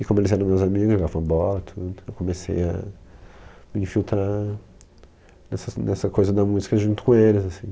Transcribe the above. E como eles eram meus amigos, jogavam bola e tudo, eu comecei a infiltrar nessa nessa coisa da música junto com eles assim